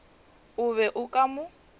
o be o ka mo